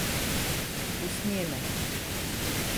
Usnjene.